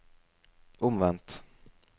omvendt